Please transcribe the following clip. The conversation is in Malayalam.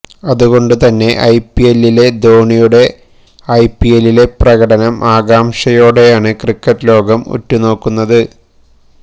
അതുകൊണ്ട് തന്നെ ഐപിഎല്ലിലെ ധോണിയുടെ ഐപിഎലിലെ പ്രകടനം ആകാംക്ഷയോടെയാണ് ക്രിക്കറ്റ് ലോകം ഉറ്റുനോക്കുന്നത്